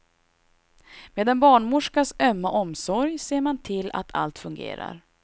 Med en barnmorskas ömma omsorg ser man till att allt fungerar.